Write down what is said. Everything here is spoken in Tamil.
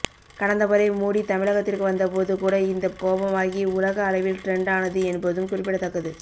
கடந்த முறை மூடி தமிழகத்திற்கு வந்தபோது கூட இந்த கோபமாகி உலக அளவில் டிரெண்ட் ஆனது என்பதும் குறிப்பிடத்தக்கது